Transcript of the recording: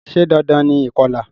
Se dandan ni ìkolà?